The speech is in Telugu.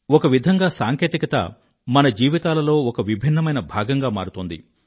ఒక విధంగా సాంకేతికత మన జీవితాలలో ఒక విభిన్నమైన భాగంగా మారుతోంది